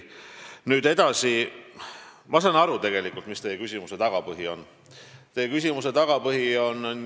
Nüüd edasi, ma saan tegelikult aru, mis on teie küsimuse tagapõhi.